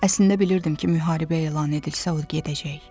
Əslində bilirdim ki, müharibə elan edilsə, o gedəcək.